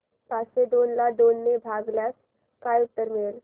पाचशे दोन ला दोन ने भागल्यास काय उत्तर मिळेल